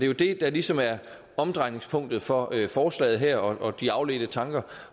jo det der ligesom er omdrejningspunktet for forslaget her og de afledte tanker